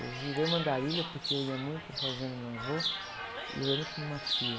Eu virei uma andarilha porque eu ia muito para a fazenda do meu avô e eu ia muito com uma tia.